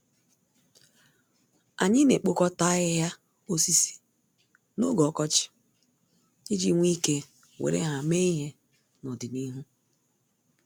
Anyị naekpokọta ahịhịa osisi n'oge ọkọchị, iji nwee ike were ha mee ihe nọdịnihu.